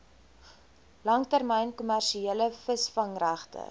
langtermyn kommersiële visvangregte